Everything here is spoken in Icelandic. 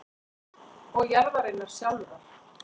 og jarðarinnar sjálfrar.